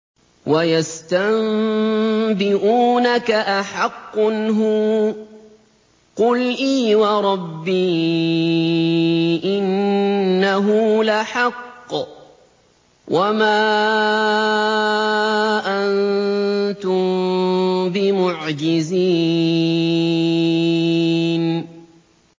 ۞ وَيَسْتَنبِئُونَكَ أَحَقٌّ هُوَ ۖ قُلْ إِي وَرَبِّي إِنَّهُ لَحَقٌّ ۖ وَمَا أَنتُم بِمُعْجِزِينَ